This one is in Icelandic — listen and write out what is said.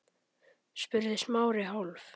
spurði Smári, hálf